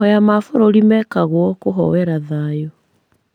Mahoya ma bũrũri mekagwo kũhoera thayũ